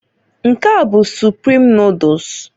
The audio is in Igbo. Nke a bụ Suprim noduls,